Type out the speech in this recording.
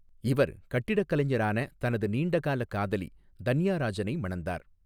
இவர் கட்டிடக் கலைஞரான தனது நீண்டகால காதலி தன்யா ராஜனை மணந்தார்.